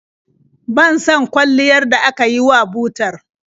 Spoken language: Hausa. Ban son kwalliyar da aka yi wa butar.